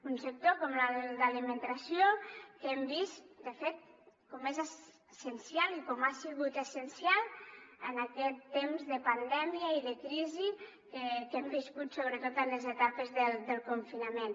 un sector com el de l’alimentació que hem vist de fet com és essencial i com ha sigut essencial en aquest temps de pandèmia i de crisi que hem viscut sobretot en les etapes del confinament